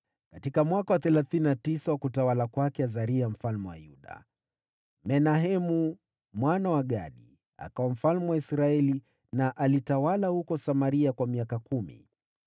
Katika mwaka wa thelathini na tisa wa utawala wa Azaria mfalme wa Yuda, Menahemu mwana wa Gadi akawa mfalme wa Israeli, akatawala huko Samaria kwa miaka kumi.